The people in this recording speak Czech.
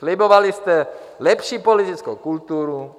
Slibovali jste lepší politickou kulturu.